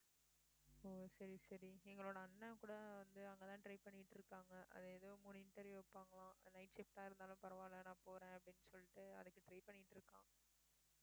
ஓ சரி சரி எங்களோட அண்ணன் கூட வந்து அங்கதான் try பண்ணிட்டு இருக்காங்க அது ஏதோ மூணு interview வைப்பாங்களாம் night shift ஆ இருந்தாலும் பரவாயில்லை நான் போறேன் அப்படின்னு சொல்லிட்டு அதுக்கு try பண்ணிட்டு இருக்கான்